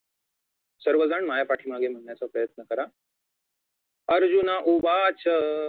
सर्वजण माझ्या पाठीमागे म्हणण्याचा प्रयन्त करा अर्जुन उवाच